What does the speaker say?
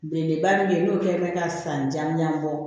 Belebeleba min bɛ yen n'o kɛlen bɛ ka san jan ɲanabɔ